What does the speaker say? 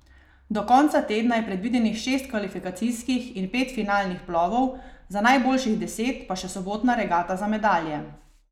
Do konca tedna je predvidenih šest kvalifikacijskih in pet finalnih plovov, za najboljših deset pa še sobotna regata za medalje.